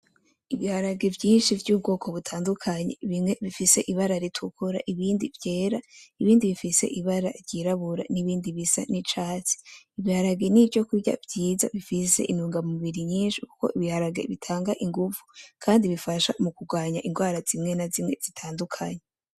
Ibiharage vyinshi vy'ubwoko butandukanye bimwe ifise ibara ritukura, ibindi vyera ,ibindi bifise ibara ry'irabura, n'ibindi bisa n'icatsi, ibiharage nivyokurya vyiza bifise intungamubiri nyinshi kuko ibiharage bitanga inguvu kandi bifasha mukugwanya ingwara zimwe na zimwe zitandukanye.